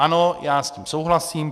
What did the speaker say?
Ano, já s tím souhlasím.